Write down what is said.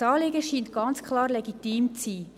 Das Anliegen scheint klar legitim zu sein.